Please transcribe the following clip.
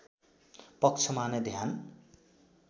पक्षमा नै ध्यान